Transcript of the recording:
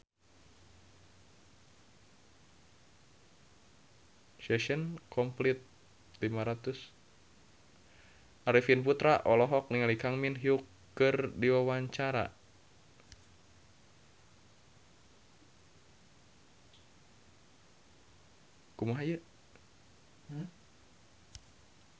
Arifin Putra olohok ningali Kang Min Hyuk keur diwawancara